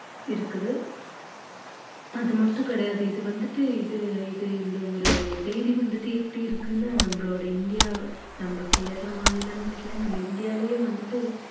இருக்குது அது மட்டும் கிடையாது இது வந்துட்டு இது இது இந்த ஒரு செய்தி வந்துட்டு எப்படி இருக்குன்னா நம்மளோட இந்தியா நம்ம கேரள மாநிலம்னுட்டு இல்ல நம்ம இந்தியாலயே வந்துட்டு